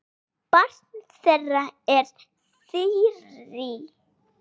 Barn þeirra er Þyrí.